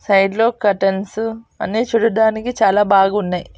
Side లో curtains అన్నీ చూడటానికి చాలా బాగున్నాయి.